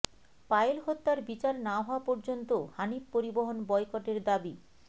পায়েল হত্যার বিচার না হওয়া পর্যন্ত হানিফ পরিবহন বয়কটের দাবি